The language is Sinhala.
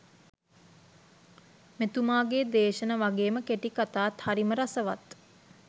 මෙතුමාගේ දේශන වගේම කෙටි කතාත් හරිම රසවත්.